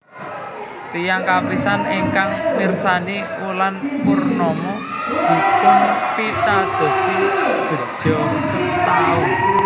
Tiyang kapisan ingkang mirsani wulan purnama dipunpitadosi begja setaun